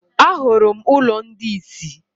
Ahụrụ m ụlọ ndị isi.